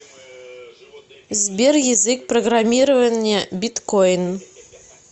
сбер язык программирования биткоин